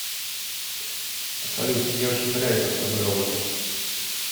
салют мне очень нравится с тобой работать